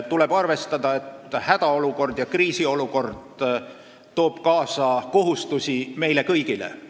Tuleb arvestada, et hädaolukord ja kriisiolukord toob kaasa kohustusi meile kõigile.